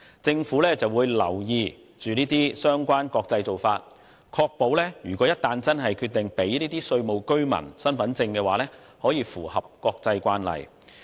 政府會留意國際間的相關做法，以確保一旦要給予有關公司稅務居民身份證明書時可符合國際慣例。